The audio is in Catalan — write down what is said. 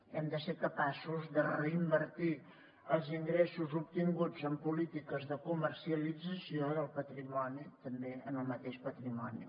hem de ser capaços de reinvertir els ingressos obtinguts en polítiques de comercialització del patrimoni també en el mateix patrimoni